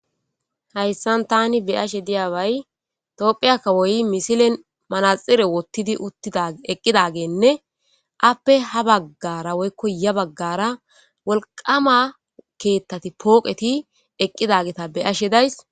Hayssan taani be'ashe diyabay tophphiya kawoy misilen manaxire wottidi uttidi eqqidagenne aappe ha baggara woykko ya baggara wolqama keettati woykko pooqeti eqqidageta be'ashe days.